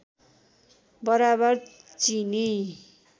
बराबर चिनी